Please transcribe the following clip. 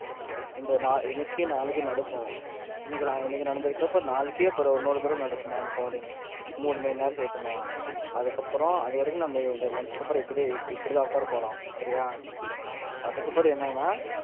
இந்த இன்னைக்கும் நாளைக்கும் அனுப்புவோம் இன்னைக்கு இன்னைக்கு நடந்ததுக்கு அப்புறம் நாளைக்கு அப்புறம் இன்னொரு தடவ நடக்குமா? மூணு மணி நேரம் save பண்ணுவான். அதுக்கு அப்புறம் அதுவரைக்கும் நம்ம இந்த lunch க்கு அப்புறம் இப்படி தான் உட்கார போறோம் சரியா? ஹம் அதுக்கு அப்புறம் என்னன்னா?